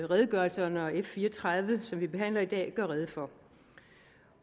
redegørelserne og f fire og tredive som vi behandler i dag gør rede for